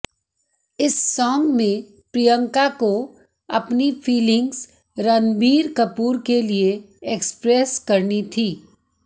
इस सॉन्ग में प्रियंका को अपनी फीलिंग्स रणबीर कपूर के लिए एक्सप्रेस करनी थी